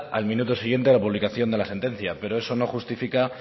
al minuto siguiente a la publicación de de la sentencia pero eso no justifica